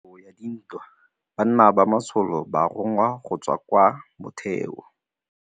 Ka nakô ya dintwa banna ba masole ba rongwa go tswa kwa mothêô.